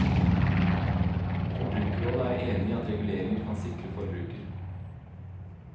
Forbrukerrådet er enig i at reguleringer kan sikre forbruker.